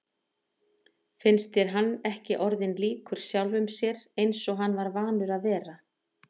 Finnst þér hann ekki orðinn líkur sjálfum sér eins og hann var vanur að vera?